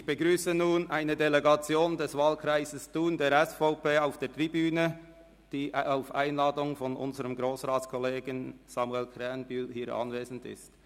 Ich begrüsse nun eine Delegation des Wahlkreises Thun der SVP auf der Tribüne, die aufgrund einer Einladung von Grossrat Krähenbühl hier anwesend ist.